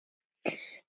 Hvað er enda lífið?